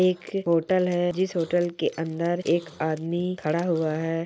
एक होटल है जिस होटल के अंदर एक आदमी खड़ा हुआ है।